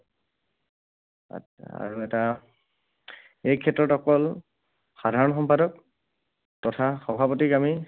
আচ্ছা, আৰু এটা, এইক্ষেত্ৰত অকল সাধাৰণ সম্পাদক তথা সভাপতিক আমি